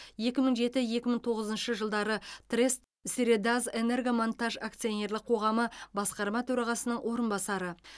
екі мың жеті екі мың тоғызыншы жылдары трест средазэнергомонтаж акционерлік қоғамы басқарма төрағасының орынбасары